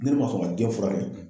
Ni ne ma sɔn ka den furakɛ.